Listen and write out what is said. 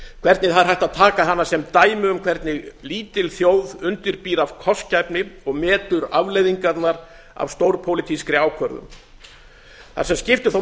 hvernig það er hægt að taka hana sem dæmi um hvernig lítil þjóð undirbýr af kostgæfni og metur afleiðingarnar af stórpólitískri ákvörðun það sem skiptir þó